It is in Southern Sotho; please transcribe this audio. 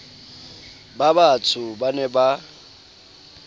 ba batsho ba ne ba